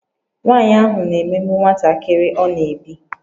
Nwanyị ahụ na-emegbu nwantakịrị ọ na-ebi